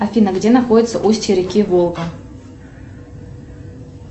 афина где находится устье реки волга